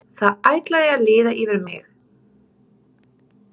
Það ætlaði að líða yfir mig.